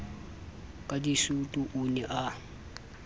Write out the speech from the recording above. ka disutu o ne a